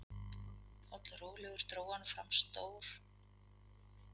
Pollrólegur dró hann fram stór